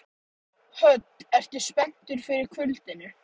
Og hann hefði ort til hennar ljóð.